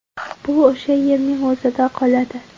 Bu o‘sha yerning o‘zida qoladi.